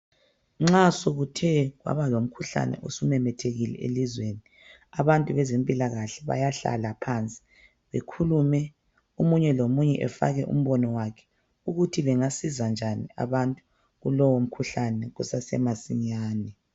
Nxa sokuthe kwaba lomkhuhlane osumemethekile elizweni, abantu bezempilakahle bayahlala phansi bekhulume omunye lomunye efake umbono wakhe ukuthi bengasiza njani abantu kulowo mkhuhlane kusase masinyane